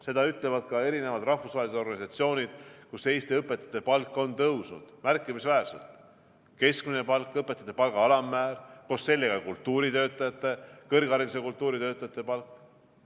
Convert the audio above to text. Seda ütlevad ka eri rahvusvahelised organisatsioonid, et Eesti õpetajate palk on tõusnud märkimisväärselt: keskmine palk, õpetajate palga alammäär, koos sellega kõrgharidus- ja kultuuritöötajate palk.